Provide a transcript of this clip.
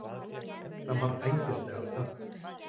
Það var æðislega töff.